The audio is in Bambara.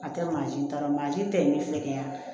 A tɛ mansin ta la mansin tɛ ɲɛ fɛ kɛ ye yan